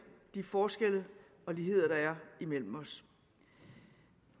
de forskelle og ligheder der er imellem os